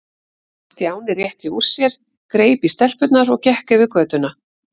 Stjáni rétti úr sér, greip í stelpurnar og gekk yfir götuna.